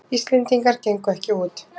Íslendingar gengu ekki út